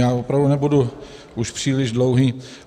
Já opravdu už nebudu příliš dlouhý.